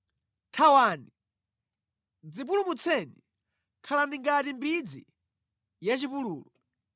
Thawani! Dzipulumutseni; khalani ngati mbidzi ya mʼchipululu.